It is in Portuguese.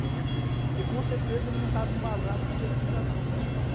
Bem à frente, né? Porque com certeza ele não estava embasado com pesquisa não, cara.